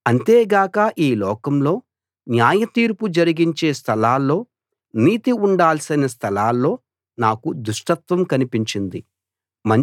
అంతేగాక ఈ లోకంలో న్యాయతీర్పు జరిగించే స్థలాల్లో నీతి ఉండాల్సిన స్థలాల్లో నాకు దుష్టత్వం కనిపించింది